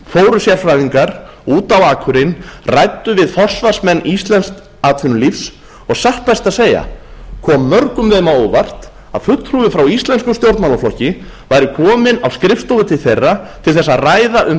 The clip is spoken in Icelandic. fóru sérfræðingar út á akurinn ræddu vi forsvarsmenn íslensks atvinnulífs og satt best að segja kom þeim mörgum á óvart að fulltrúi frá íslenskum stjórnmálaflokki væri kominn á skrifstofu til þeirra til þess að ræða um